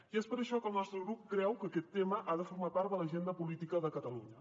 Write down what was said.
i és per això que el nostre grup creu que aquest tema ha de formar part de l’agenda política de catalunya